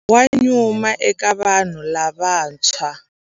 Wa nyuma eka vanhu lavantshwa.